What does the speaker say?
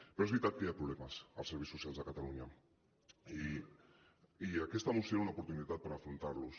però és veritat que hi ha problemes als serveis socials de catalunya i aquesta moció era una moció per afrontar los